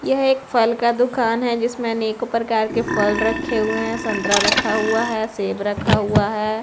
यह एक फल का दुकान है जिसमें अनेकों प्रकार के फल रखे हुए हैं संतरा रखा हुआ है सेब रखा हुआ है।